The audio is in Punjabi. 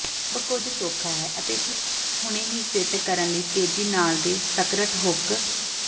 ਸਭ ਕੁਝ ਸੌਖਾ ਹੈ ਅਤੇ ਹੁਣੇ ਹੀ ਫਿੱਟ ਕਰਨ ਲਈ ਤੇਜ਼ੀ ਨਾਲ ਦੇ ਸਕਰਟ ਹੁੱਕ